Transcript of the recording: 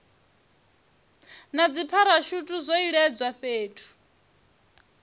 na dzipharashuthi zwo iledzwa fhethu